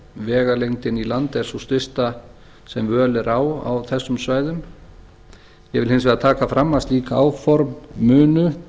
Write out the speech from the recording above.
vegalengdin í land er sú stysta sem völ er á á þessum svæðum ég vil hins vegar taka fram að slík áform munu